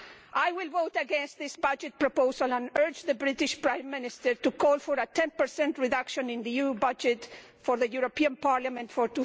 I will vote against this budget proposal and urge the British Prime Minister to call for a 10 reduction in the EU budget for the European Parliament for